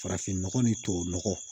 Farafin nɔgɔ ni tubabu nɔgɔ